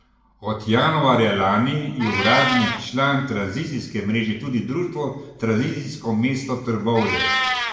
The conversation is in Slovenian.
Od januarja lani je uradni član Tranzicijske mreže tudi društvo Tranzicijsko mesto Trbovlje.